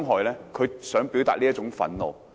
他只是想表達這種憤怒。